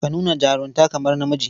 Ka nuna jarunta kamar namiji.